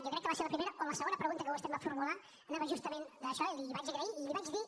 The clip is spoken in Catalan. jo crec que va ser la primera o la segona pregunta que vostè em va formular anava justament d’això i li ho vaig agrair i li vaig dir